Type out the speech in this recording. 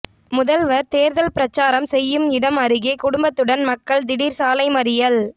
முதல்வர் தேர்தல் பிரசாரம் செய்யும் இடம் அருகே குடும்பத்துடன் மக்கள் திடீர் சாலை மறியல்